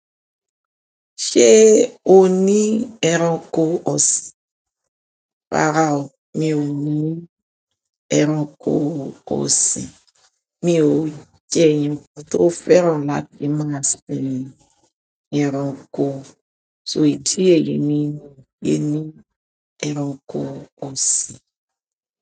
Ṣé o ní ẹranko ọ̀sìn? Rárá o, mi ò ní ẹranko ọ̀sìn. Mi ò jẹ́ ẹni tó fẹ́ràn láti máa sin ẹranko, so idi èyí mi o gbé ẹranko ọ̀sìn.